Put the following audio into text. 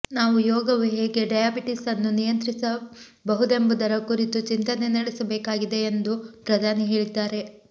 ನಾವು ಯೋಗವು ಹೇಗೆ ಡಯಾಬಿಟಿಸನ್ನು ನಿಯಂತ್ರಿಸ ಬಹುದೆಂಬುದರ ಕುರಿತು ಚಿಂತನೆ ನಡೆಸಬೇಕಾಗಿದೆ ಯೆಂದು ಪ್ರಧಾನಿ ಹೇಳಿದ್ದಾರೆ